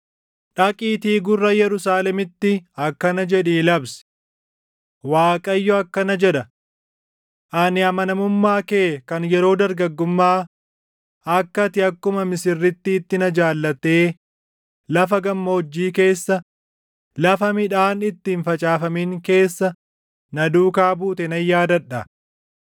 “Dhaqiitii gurra Yerusaalemiitti akkana jedhii labsi: “Waaqayyo akkana jedha: “ ‘Ani amanamummaa kee kan yeroo dargaggummaa, akka ati akkuma misirrittiitti na jaallattee lafa gammoojjii keessa, lafa midhaan itti hin facaafamin keessa na duukaa buute // nan yaadadha.